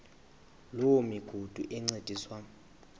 loo migudu encediswa